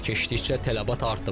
Vaxt keçdikcə tələbat artıb.